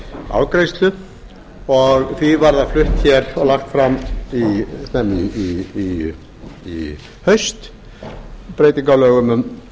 afgreiðslu og því var það flutt hér og lagt fram í haust breyting á lögum um